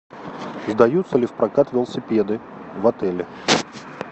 выдаются ли в прокат велосипеды в отеле